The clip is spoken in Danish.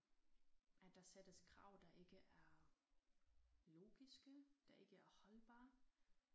At der sættes krav der ikke er logiske der ikke er holdbare